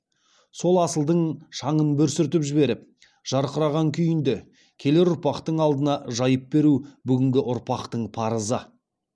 сол асылдың шаңын бір сүртіп жіберіп жарқыраған күйінде келер ұрпақтың алдына жайып беру бүгінгі ұрпақтың парызы